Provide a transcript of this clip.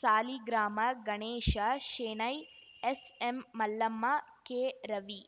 Saligrama ಗಣೇಶಶೆಣೈ ಎಸ್‌ಎಂಮಲ್ಲಮ್ಮ Keravi